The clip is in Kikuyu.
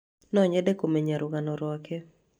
No nyende kũmenya rũgano rwake.